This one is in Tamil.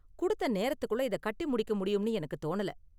கொடுத்த நேரத்துக்குள்ள இத கட்டி முடிக்க முடியும்னு எனக்கு தோணல.